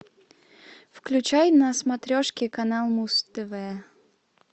включай на смотрешке канал муз тв